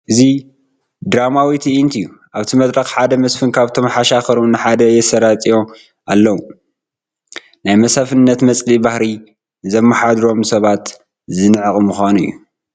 እዚ ድራማዊ ትእይንት እዩ፡፡ ኣብቲ መድረኽ ሓደ መስፍን ካብቶም ሓሻኽሮም ንሓደ የሰራጥይዎ ኣለዉ፡፡ ናይ መስፍንነት መፅልኢ ባህሪ ንዘማሓድሮም ሰባት ዝንዕቕ ምዃኑ እዩ፡፡